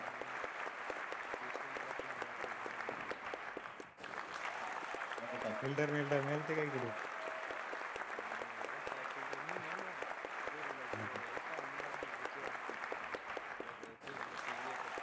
ती स्ट्रॉंग असल्यामुळे ते झाल नाही तर काय फिल्डर बिल्डर नेलते काय ईडून नाही नाही बाबा काय फिल्डर मी म्हणल पोरीला कि बाबा हे पाय मला आधीच भीती वाटते की ती म्हणे तू ये फक्त